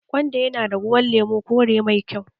Gwanda yana da ruwan lemu/kore mai kyau